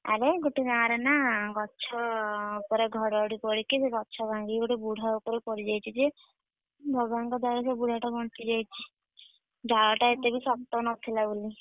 ଆରେ ଗୋଟେ ଗାଁ ରେ ନା ଗଛ ଉପରେ ଘଡଘଡି ପଡିକି ସେ ଗଛ ଭାଙ୍ଗିକି ଗୋଟେ ବୁଢା ଉପରେ ପଡିଯାଇଛି ଯେ, ଭଗବାନ ଙ୍କ ଦୟାରୁ ସେ ବୁଢା ବଞ୍ଚିଯାଇଛି। ଡାଳଟା ଏତେବି ଶକ୍ତ ନଥିଲା ବୋଲି।